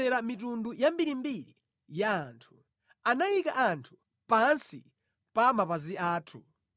Iye anatigonjetsera mitundu yambirimbiri ya anthu; anayika anthu pansi pa mapazi athu.